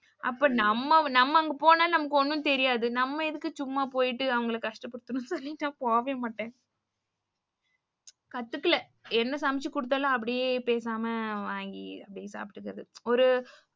அப்ப நம்ம அங்க போனா ஒன்னும் தெரியாது நம்ம எதுக்கு சும்மா போயிட்டு அவங்கள கஷ்டபடுத்தணும் னு சொல்லி ந போவே மாட்டேன். கத்துக்கல என்ன சமைச்சு குடுத்தாலும் அப்டியே பேசாம வாங்கி அப்டியே சாப்டுக்குறது ஒரு,